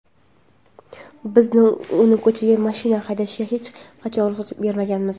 Biz uni ko‘chada mashina haydashiga hech qachon ruxsat bermaganmiz.